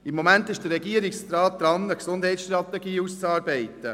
Im Moment ist der Regierungsrat dabei, eine Gesundheitsstrategie auszuarbeiten.